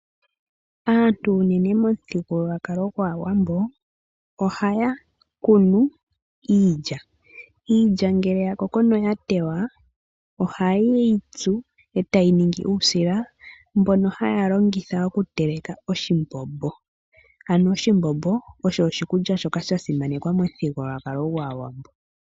Aantu unene momuthigululwakalo gwAawambo ohaya kunu iilya. Iilya ngele yakoko etayi tewa ohayi tsuwa etayi ningi uusila mboka haya longitha okuteleka oshimbombo. Ano oshimbombo osho oshikulya shoka sha simanekwa momuthigululwakalo gwAawambo.